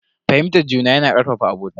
Fahimtar juna yana karfafa abota.